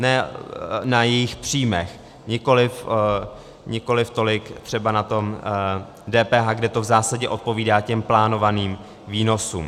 Ne na jejich příjmech, nikoliv tolik třeba na tom DPH, kde to v zásadě odpovídá těm plánovaným výnosům.